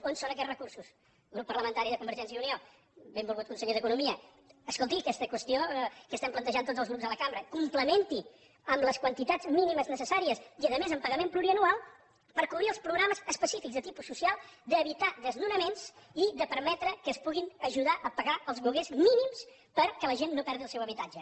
on són aquests recursos grup parlamentari de convergència i unió benvolgut conseller d’economia escolti aquesta qüestió que estem plantejant tots els grups de cambra complementi ho amb les quantitats mínimes necessàries i a més amb pagament plurianual per cobrir els programes específics de tipus social d’evitar desnonaments i de permetre que es pugui ajudar a pagar els lloguers mínims perquè la gent no perdi el seu habitatge